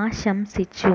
ആശംസിച്ചു